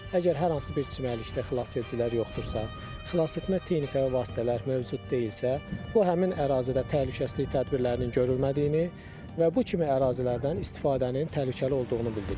Əgər hər hansı bir çimərlikdə xilasedicilər yoxdursa, xilasetmə texnika və vasitələr mövcud deyilsə, bu həmin ərazidə təhlükəsizlik tədbirlərinin görülmədiyini və bu kimi ərazilərdən istifadənin təhlükəli olduğunu bildirir.